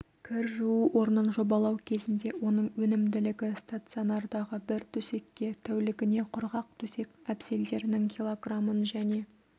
кір жуу орнын жобалау кезінде оның өнімділігі стационардағы бір төсекке тәулігіне құрғақ төсек әбзелдерінің килограмын және